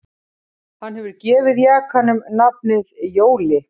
Hann hefur gefið jakanum nafnið Jóli